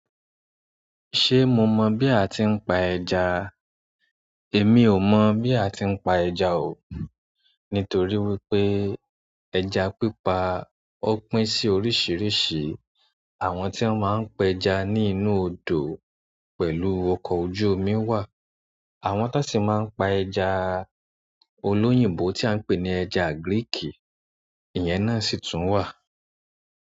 Ṣé mo mọ́ bí a ti ń pa ẹja? Èmi ò mọ̀ bí a ti ń pa ẹja o. Nítorí wípé ẹja pípa ó pín sí oríṣìíríṣìí. Àwọn tí wọ́n máa ń pe ẹja ní inú odò pẹ̀lú ọkọ̀ ojú omi wà. Àwọn tan si máa ń pa ẹ̀ja olóyìnbó tí a ń pè ní ẹja agíríìkì, ìyẹn náà sì tún wà.